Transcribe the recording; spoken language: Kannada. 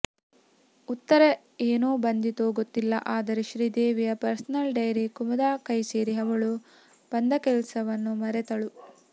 ಉತ್ತರ ಏನು ಬಂದಿತೋ ಗೊತ್ತಿಲ್ಲ ಆದರೆ ಶ್ರೀದೇವಿಯ ಪರ್ಸನಲ್ ಡೈರಿ ಕುಮುದಾ ಕೈಸೇರಿ ಅವಳು ಬಂದಕೆಲ್ಸವನ್ನು ಮರೆತಳು